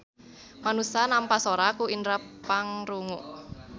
Manusa nampa sora ku indera pangrungu.